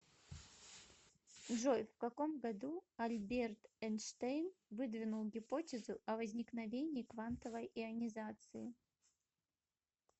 джой в каком году альберт эйнштейн выдвинул гипотезу о возникновении квантовой ионизации